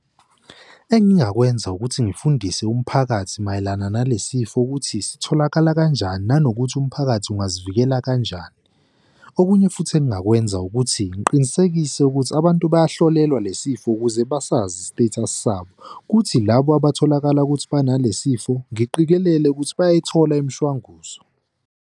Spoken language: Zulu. Engingakwenza ukuthi ngifundise umphakathi mayelana nale sifo ukuthi sitholakala kanjani nanokuthi umphakathi angazivikela kanjani. Okunye futhi engingakwenza ukuthi ngiqinisekise ukuthi abantu baya ehlolelwa le sifo ukuze basazi i-status sabo, kuthi labo abatholakala ukuthi banalesi sifo ngiqikelele ukuthi bayayithola imishwanguzo.